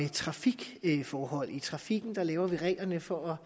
trafikforhold i trafikken laver vi reglerne for